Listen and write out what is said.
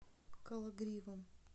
кологривом